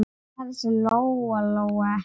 Það vissi Lóa-Lóa ekki heldur.